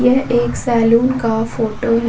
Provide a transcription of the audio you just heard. यह एक सैलून का फोटो है।